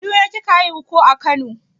A kaduna kika haihu ko a kano?